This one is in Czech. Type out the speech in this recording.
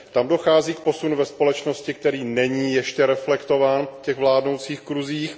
Tam dochází k posunu ve společnosti, který není ještě reflektován v těch vládnoucích kruzích.